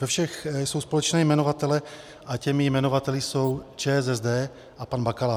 Ze všech jsou společné jmenovatele a těmi jmenovateli jsou ČSSD a pan Bakala.